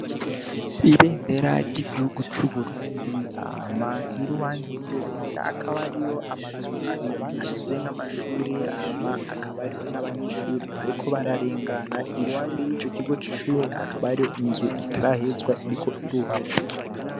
Ibendera ry'igihugu c'uburundi, hama iruhande y'iryo bendera hakaba hariyo amazu abiri ameze nk'amashuri hama hakaba hariyo n'abanyeshure bariko bararengana iruhande y'ico kigo c'ishure hakaba hariyo inzu itarahezwa iriko irubakwa.